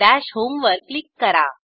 दश होम वर क्लिक करा